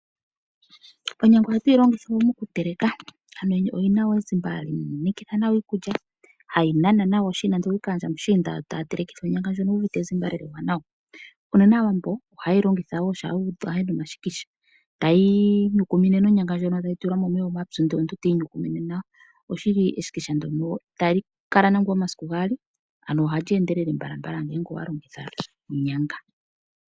Oonyanga ohadhi longithwa okuteleka iikulya. Ohayi kutha mo oluho moshelelwa oshoka oyina ezimba lina oonkondo. Aawambo ohaye yilongitha ongaa omuti gokupanga omasikisha hayi tulwa momeya omapyu eteyi nyukumine nayo.